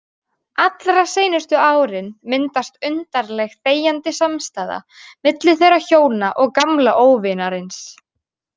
Allra seinustu árin myndast undarleg þegjandi samstaða milli þeirra hjóna og gamla óvinarins.